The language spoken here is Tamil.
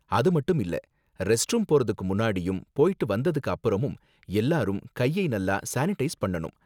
அது மட்டும் இல்ல, ரெஸ்ட்ரூம் போறதுக்கு முன்னாடியும் போய்ட்டு வந்ததுக்கு அப்புறமும் எல்லாரும் கையை நல்லா சானிடைஸ் பண்ணனும்.